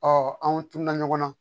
Ɔ an tun na ɲɔgɔn na